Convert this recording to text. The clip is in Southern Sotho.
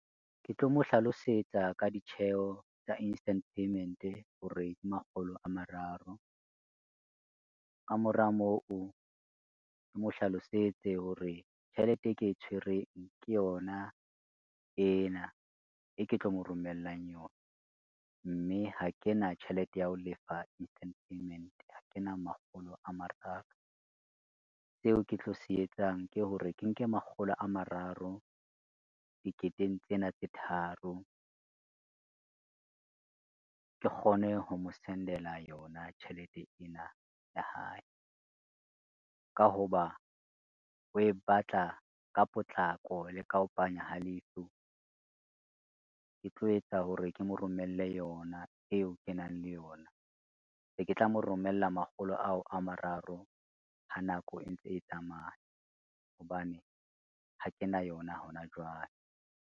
Ke tlo mo hlalosetsa ka ditjheho tsa instant payment hore makgolo a mararo, ka mora moo ke mo hlalosetse hore tjhelete e ke e tshwereng ke yona ena e ke tlo mo romellang yona mme ha ke na tjhelete ya ho lefa instant payment ha kena makgolo a mararo. Seo ke tlo se etsang ke hore ke nke makgolo a mararo, diketeng tsena tse tharo, ke kgone ho mo send-ela yona tjhelete ena ya hae, ka ho ba o e batla ka potlako le ka ho panya ha leihlo, ke tlo etsa hore ke mo romelle yona eo ke nang le yona, se ke tla mo romella makgolo ao a mararo ha nako e ntse e tsamaya hobane ha ke na yona hona jwale.